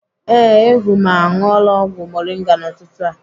Ee, Ehumma aṅụọla ọgwụ moringa n'ụtụtụ a.